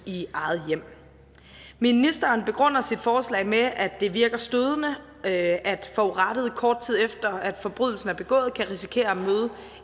i eget hjem ministeren begrunder sit forslag med at det virker stødende at forurettede kort tid efter forbrydelsen er begået kan risikere at møde